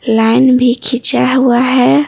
Line भी खींचा हुआ है।